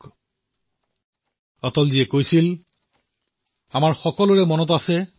শ্ৰী অটলজীৰ কণ্ঠধ্বনি